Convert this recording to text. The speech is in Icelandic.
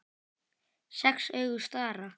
Sex augu stara.